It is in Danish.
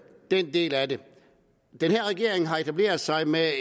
del af det den her regering har etableret sig med